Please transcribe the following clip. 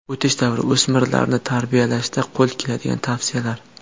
O‘tish davri: O‘smirlarni tarbiyalashda qo‘l keladigan tavsiyalar.